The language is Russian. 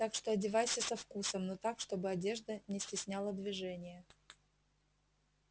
так что одевайся со вкусом но так чтобы одежда не стесняла движение